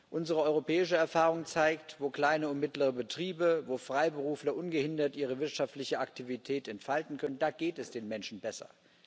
Unsere europäische Erfahrung zeigt Wo kleine und mittlere Betriebe, wo Freiberufler ungehindert ihre wirtschaftliche Aktivität entfalten können, da geht es den Menschen besser.